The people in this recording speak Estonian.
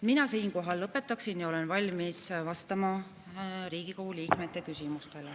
Mina siinkohal lõpetan ja olen valmis vastama Riigikogu liikmete küsimustele.